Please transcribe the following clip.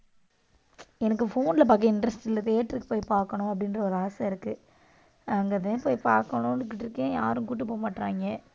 எனக்கு phone ல பாக்க interest இல்ல theater க்கு போய் பாக்கணும் அப்படின்ற ஒரு ஆசை இருக்கு. அங்க தான் போய் பாக்கணுன்னுட்டு இருக்கேன் யாரும் கூட்டிட்டு போகமாட்டேங்கறாங்க